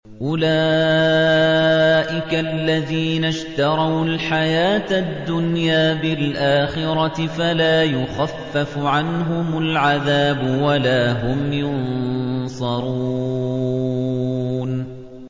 أُولَٰئِكَ الَّذِينَ اشْتَرَوُا الْحَيَاةَ الدُّنْيَا بِالْآخِرَةِ ۖ فَلَا يُخَفَّفُ عَنْهُمُ الْعَذَابُ وَلَا هُمْ يُنصَرُونَ